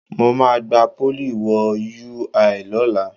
Mo máa gba Pólì wo UI lọ́la